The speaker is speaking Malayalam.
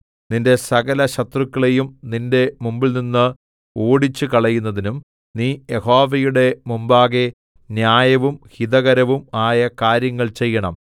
നിന്റെ സകലശത്രുക്കളെയും നിന്റെ മുമ്പിൽനിന്ന് ഓടിച്ചുകളയുന്നതിനും നീ യഹോവയുടെ മുമ്പാകെ ന്യായവും ഹിതകരവും ആയ കാര്യങ്ങൾ ചെയ്യണം